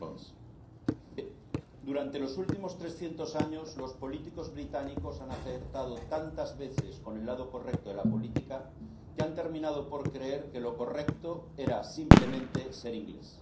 Señor presidente, durante los últimos trescientos años los políticos británicos han acertado tantas veces con el lado correcto de la política que han terminado por creer que lo correcto era simplemente ser inglés.